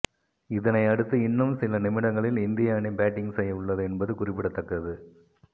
இதனை அடுத்து இன்னும் சில நிமிடங்களில் இந்திய அணி பேட்டிங் செய்ய உள்ளது என்பது குறிப்பிடத்தக்கது